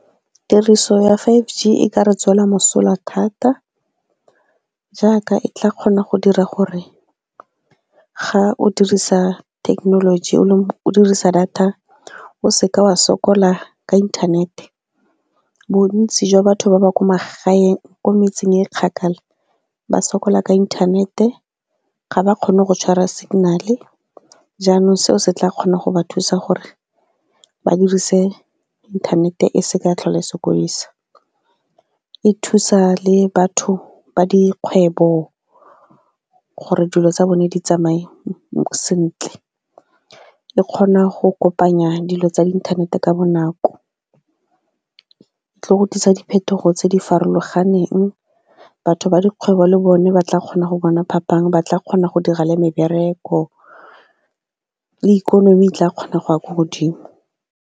Tiriso ya five_G e ka re tswela mosola thata jaaka e tla kgona go dira gore ga o dirisa thekenoloji o dirisa data o se ka wa sokola ka inthanete. Bontsi jwa batho ba ba kwa magaeng, ko metseng e kgakala ba sokola ka inthanete, ga ba kgone go tshwara signal-e jaanong seo se tla kgona go ba thusa gore ba dirise inthanete e se ka tlhole sokodisa. E thusa le batho ba dikgwebo gore dilo tsa bone di tsamae sentle. E kgona go kopanya dilo tsa inthanete ka bonako, e tlo go tlisa diphetogo tse di farologaneng, batho ba dikgwebo le bone ba tla kgona go bona phapang, ba tla kgona go dira le mebereko, le ikonomi e tla kgona go ya ko godimo.